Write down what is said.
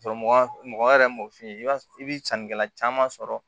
Sɔrɔ mɔgɔ mɔgɔ yɛrɛ m'o f'i ye i b'a i bɛ sannikɛla caman sɔrɔ